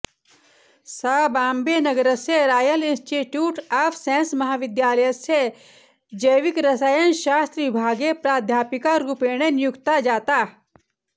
सा बाम्बेनगरस्य Royal Institute of Science महाविद्यालयस्य जैविकरसायनशास्त्रविभागे प्राध्यापिकारूपेण नियुक्ता जाता